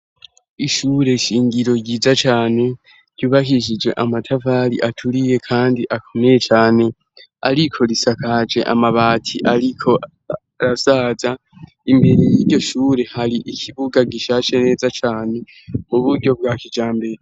Ishure shingiro ryiza cane ryubahishije amatavali aturiye, kandi akomeye cane, ariko risakaje amabati, ariko razaza imbere y'iryo shure hari ikibuga gishashe neza cane mu buryo bwa kijambere.